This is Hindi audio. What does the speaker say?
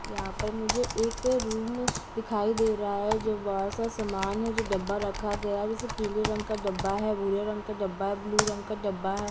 यहां पर मुझे एक रूम दिखाई दे रहा है जो बड़ा सा सामान है जो डब्बा रखा गया है जैसे पीले रंग का डब्बा है बुरे रंग का डब्बा है ब्लू रंग का डब्बा है।